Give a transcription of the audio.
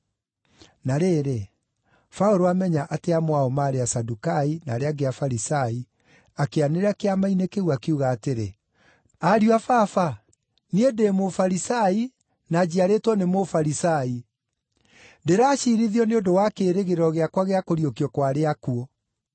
Na rĩrĩ, Paũlũ aamenya atĩ amwe ao maarĩ Asadukai, na arĩa angĩ Afarisai, akĩanĩrĩra Kĩama-inĩ kĩu, akiuga atĩrĩ, “Ariũ a Baba, niĩ ndĩ Mũfarisai, na njiarĩtwo nĩ Mũfarisai. Ndĩraciirithio nĩ ũndũ wa kĩĩrĩgĩrĩro gĩakwa gĩa kũriũkio kwa arĩa akuũ.”